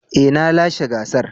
Eh na lashe gasar.